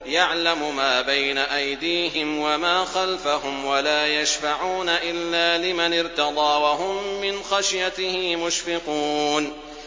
يَعْلَمُ مَا بَيْنَ أَيْدِيهِمْ وَمَا خَلْفَهُمْ وَلَا يَشْفَعُونَ إِلَّا لِمَنِ ارْتَضَىٰ وَهُم مِّنْ خَشْيَتِهِ مُشْفِقُونَ